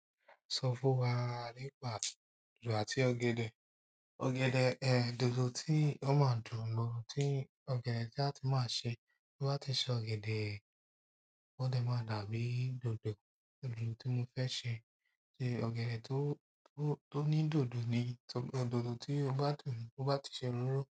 Sọ fún wa nípa dòdò àti ọ̀gẹ̀dẹ̀. Ọ̀gẹ̀dẹ̀, ehn, dòdò tí ó máa dùn lọ, tí ọ̀gẹ̀dẹ̀ tí a tí máa ṣe, tí wọ́n bá ti ṣe ọ̀gẹ̀dẹ̀, ó dẹ̀ máa dàbí dòdò, dòdò tí mo fẹ́ ṣe ni ọ̀gẹ̀dẹ̀ tó, tó, tó ní dòdò ni, dòdò tí ó bá dùn, tí ó bá ti ṣe òróró.